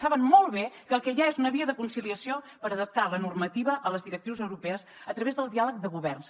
saben molt bé que el que hi ha és una via de conciliació per adaptar la normativa a les directrius europees a través del diàleg de governs